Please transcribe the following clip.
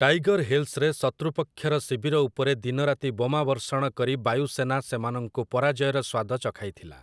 Tiger ହିଲ୍‌ସରେ ଶତ୍ରୁପକ୍ଷର ଶିବିର ଉପରେ ଦିନରାତି ବୋମାବର୍ଷଣ କରି ବାୟୁସେନା ସେମାନଙ୍କୁ ପରାଜୟର ସ୍ୱାଦ ଚଖାଇଥିଲା ।